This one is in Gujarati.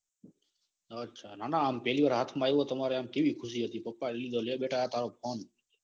અચ્છા ના ના આમ પેલી વાર હાથ માં આયો. એટલે કેવું ખુશી હતી પપ્પા એ લીધો. લે બેટા આ તારો ફોન.